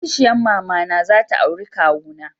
Yar kishiyan mama na za ta auri kawuna.